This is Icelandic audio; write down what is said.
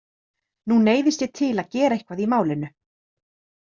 Nú neyðist ég til að gera eitthvað í málinu.